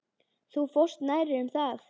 Þú fórst nærri um það.